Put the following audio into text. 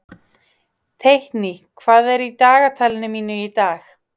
Teitný, hvað er í dagatalinu mínu í dag?